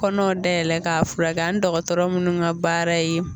Kɔnɔw dayɛlɛ k'a fura kɛ ani dɔgɔtɔrɔ minnu ka baara ye